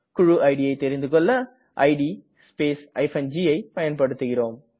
குழு idஐ தெரிந்துகெள்ள இட் ஸ்பேஸ் gஐ பயன்படுத்துகிறேம்